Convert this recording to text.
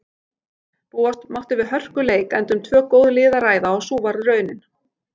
Búast mátti við hörkuleik enda um tvö góð lið að ræða og sú varð raunin.